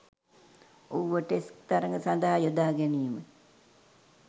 ඔහුව ටෙස්ට් තරඟ සදහා යොදාගැනිම